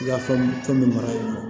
I ka fɛn min mara yɔrɔ